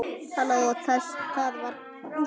Halló, það var Gústi.